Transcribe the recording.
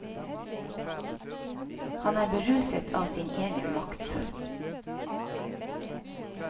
Han er beruset av sin egen makt.